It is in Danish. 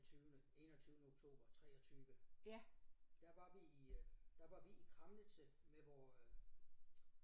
Den tyvende enogtyvende oktober 23 der var vi øh der var vi i Kramnitze med vores øh